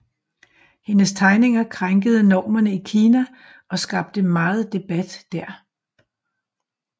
Hendes tegninger krænkede normerne i Kina og skabte meget debat der